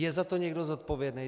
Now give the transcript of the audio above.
Je za to někdo zodpovědný?